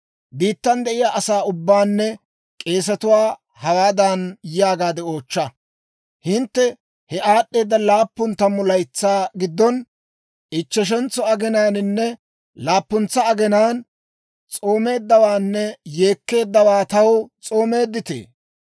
«Biittan de'iyaa asaa ubbaanne k'eesetuwaa hawaadan yaagaade oochcha; ‹Hintte he aad'd'eeda laappun tammu laytsaa giddon ichcheshentso aginaaninne laappuntsa aginaan s'oomeeddawaanne yeekkeeddawaa taw s'oomeedditee?